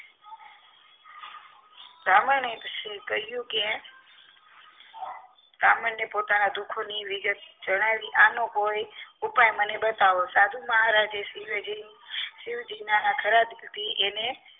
બ્રાહ્મણે કહ્યું કે બ્રાહ્મણને પોતાના દુઃખોની વિગત જણાવે આનો કોઈ ઉપાય મને બતાવો સાધુ મહારાજે શિવજીના ખરા દિલથી એન